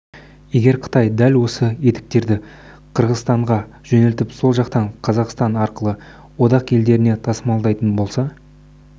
егер қытай дәл осы етіктерді қырғызстанға жөнелтіп сол жақтан қазақстан арқылы одақ елдеріне тасымалдайтын болса